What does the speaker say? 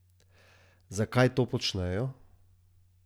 Zakaj to počnejo?